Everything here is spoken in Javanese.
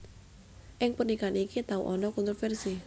Ing pernikahan iki tau ana kontrofersi